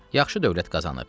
Yaxşı dövlət qazanıb.